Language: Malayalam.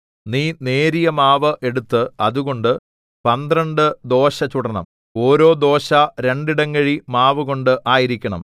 നീ നേരിയ മാവ് എടുത്ത് അതുകൊണ്ട് പന്ത്രണ്ട് ദോശ ചുടണം ഓരോ ദോശ രണ്ടിടങ്ങഴി മാവുകൊണ്ട് ആയിരിക്കണം